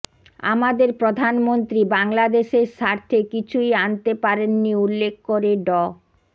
আমাদের প্রধানমন্ত্রী বাংলাদেশের স্বার্থে কিছুই আনতে পারেননি উল্লেখ করে ড